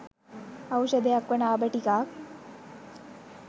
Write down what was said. ඖෂධයක් වන අබ ටිකක්